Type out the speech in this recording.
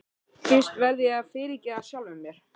Fyrst verð ég að fyrirgefa sjálfum mér.